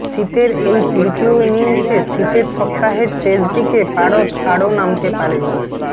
শীতের এই তৃতীয় ইনিংসে শীতের সপ্তাহের শেষ দিকে পারদ নামতে আরও নামতে পারে